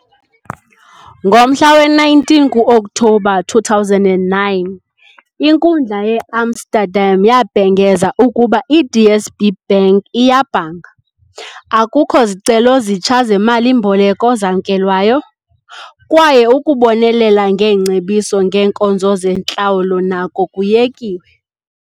Ngomhla we-19 ku-Oktobha 2009, inkundla yeAmsterdam yabhengeza ukuba i-DSB Bank iyabhanga. Akukho zicelo zitsha zemali-mboleko zamkelwayo, kwaye ukubonelela ngeengcebiso ngeenkonzo zentlawulo nako kuyekiwe.